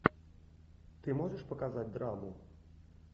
ты можешь показать драму